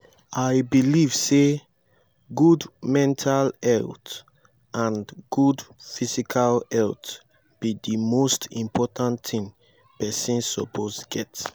i believe say good mental health and good physical health be di most important thing pesin suppose get.